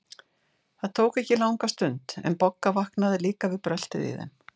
Það tók ekki langa stund, en Bogga vaknaði líka við bröltið í þeim.